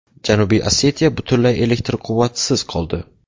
Janubiy Osetiya butunlay elektr quvvatisiz qoldi.